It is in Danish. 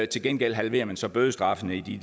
til gengæld halverer man så bødestraffen i de